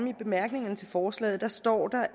i bemærkningerne til forslaget hvor der står